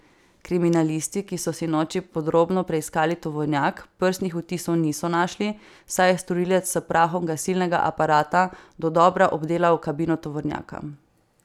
Kriminalisti, ki so sinoči podrobno preiskali tovornjak, prstnih odtisov niso našli, saj je storilec s prahom gasilnega aparata dodobra obdelal kabino tovornjaka.